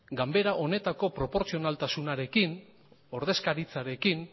ganbara honetako proportzionaltasunarekin ordezkaritzarekin